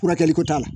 Furakɛli ko t'a la